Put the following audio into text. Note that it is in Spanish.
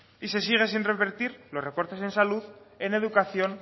y se siguen sin revertir los recortes en salud en educación